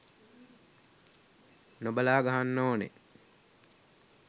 නොබලා ගහන්න ඕන.